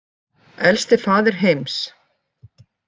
Elsti faðir heims